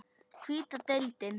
Hvíta deildin